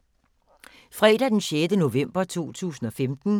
Fredag d. 6. november 2015